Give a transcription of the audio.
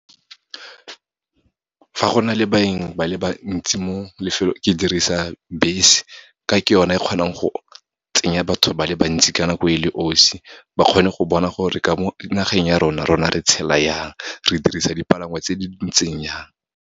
Fa go na le baeng ba le bantsi mo lefelong, ke dirisa bese, ka ke yone e kgonang go tsenya batho ba le bantsi, ka nako e le 'osi. Ba kgone go bona gore ka mo nageng ya rona, rona re tshela yang, re dirisa dipalangwa tse di ntseng jang.